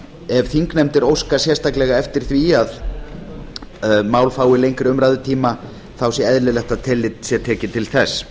ef þingnefndir óska sérstaklega eftir því að mál fái lengri umræðutíma þá sé eðlilegt að tillit sé tekið til þess